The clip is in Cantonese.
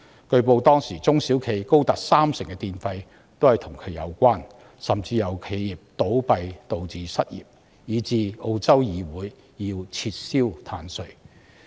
據報當時碳稅佔中小企電費高達三成，甚至因企業倒閉導致失業問題，以致澳洲議會要撤銷碳稅。